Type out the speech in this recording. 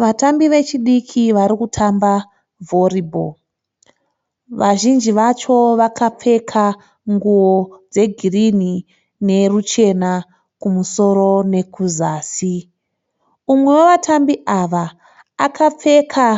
Vatambi vechidiki varikutamba vhoribho. Vazhinji vacho vakapfeka nguwo dzegirinhi neruchena kumusoro nekuzasi. Umwe wavatambi ava akapfeka